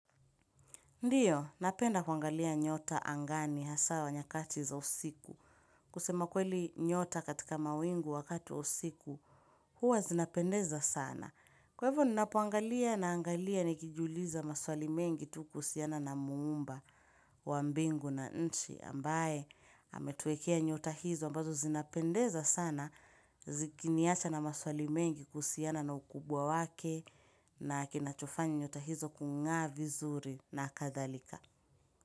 Ndiyo, napenda kuangalia nyota angani haswa nyakati za usiku. Kusema kweli nyota katika mawingu wakati wa usiku, huwa zinapendeza sana. Kwa hivyo, ninapoangalia na angalia nikijuliza maswali mengi tu kuhusiana na muumba wa mbingu na nchi. Ambaye ametuwekea nyota hizo ambazo zinapendeza sana zikiniacha na maswali mengi kuhusiana na ukubwa wake na kinachofanya nyota hizo kungaa vizuri na kadhalika.